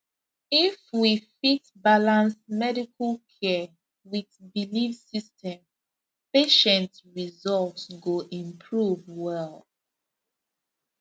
if we fit balance medical care with belief system patient result go improve well